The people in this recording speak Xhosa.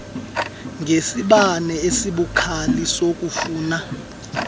ngesibane esibukhali sokufuna